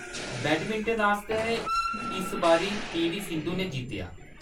Badminton आस्तै, इस बारी पी.वी. सिंधु ने जित्तेआ।